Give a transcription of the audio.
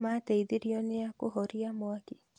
Mateithirio nia kũhoria mwaki?